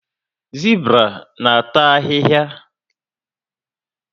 Zibra na ata ahịhịa